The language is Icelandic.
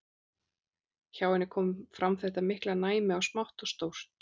Hjá henni kom fram þetta mikla næmi á smátt og stórt.